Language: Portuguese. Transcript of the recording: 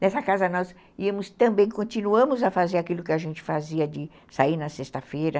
Nessa casa, nós íamos também, continuamos a fazer aquilo que a gente fazia de sair na sexta-feira.